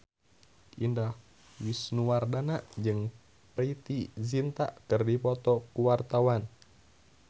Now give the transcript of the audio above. Indah Wisnuwardana jeung Preity Zinta keur dipoto ku wartawan